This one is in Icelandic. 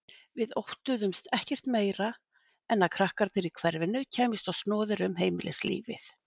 Við óttuðumst ekkert meir en að krakkarnir í hverfinu kæmust á snoðir um heimilislífið.